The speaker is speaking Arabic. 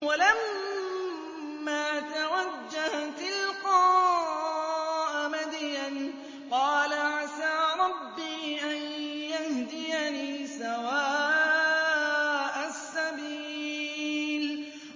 وَلَمَّا تَوَجَّهَ تِلْقَاءَ مَدْيَنَ قَالَ عَسَىٰ رَبِّي أَن يَهْدِيَنِي سَوَاءَ السَّبِيلِ